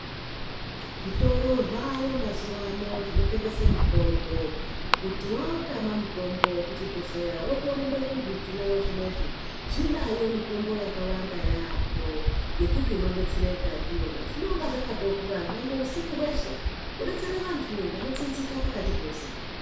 Zvitoro zvaayo mazuwa ano zvinotengese mitombo kuti waautama mutombo kuchibhehleya wotorumbe kuzvitoro zvino izvi zvinayo mitombo yakawanda yaamhoo yekuti unodetsereka ndiyona zvinonga zvakatovhura nyangwe usiku hweshe kudetsere vantu vanotsinzika pakati peusiku.